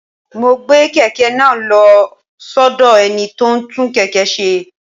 Mo gbé kèké náà lo sódò ẹni tó ń tún kèké se